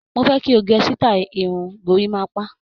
Mo fẹ́ kí o gẹ sítáì irun gorímápá.